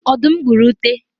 ọdum gburu ute